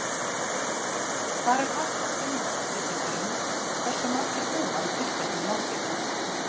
hvar er hægt að finna upplýsingar um hversu margir búa í tilteknu landi